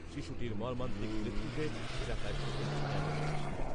শিশুটির মর্মান্তিক মৃত্যুতে এলাকায় শোকের ছায়া নেমে আসে।